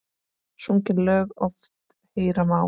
Sungin lög oft heyra má.